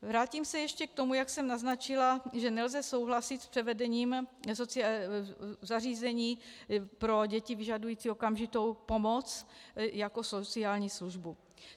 Vrátím se ještě k tomu, jak jsem naznačila, že nelze souhlasit s převedením zařízení pro děti vyžadující okamžitou pomoc jako sociální službu.